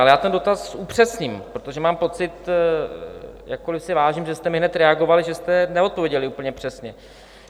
Ale já ten dotaz upřesním, protože mám pocit, jakkoli si vážím, že jste mi hned reagovali, že jste neodpověděli úplně přesně.